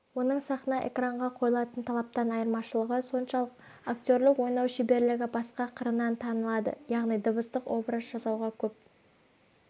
оның сахна экранға қойылатын талаптан айырмашалығы соншалық актерлік ойнау шеберлігі басқа қырынан танылады яғни дыбыстық образ жасауға көп